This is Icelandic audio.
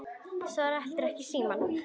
Svaraði heldur ekki í síma.